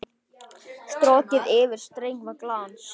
Strokið yfir streng með glans.